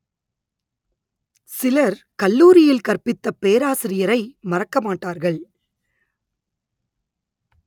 சிலர் கல்லூரியில் கற்பித்த பேராசிரியரை மறக்க மாட்டார்கள்